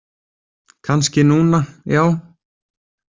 Kannski núna, já.